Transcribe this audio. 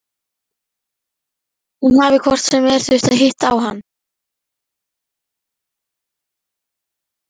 Hún hafi hvort sem er þurft að hitta á hann.